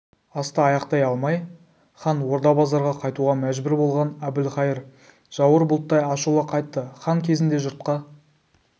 асты аяқтай алмай хан орда-базарға қайтуға мәжбүр болған әбілқайыр жауар бұлттай ашулы қайтты хан кезінде жұртқа